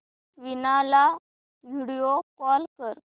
वीणा ला video call कर